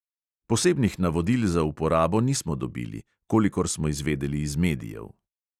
Posebnih navodil za uporabo nismo dobili, kolikor smo izvedeli iz medijev.